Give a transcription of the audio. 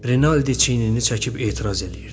Renalddi çiynini çəkib etiraz eləyirdi.